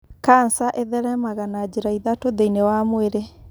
kanca ĩtheremaga na njĩra ithatũ thĩinĩ wa mwĩrĩ.